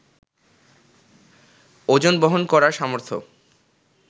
ওজন বহন করার সামর্থ্য